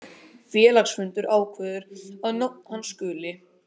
Félagsfundur ákveður að nafn hans skuli